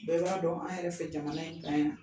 Bɛɛ b'a dɔn an yɛrɛ fɛ jamana in kan yan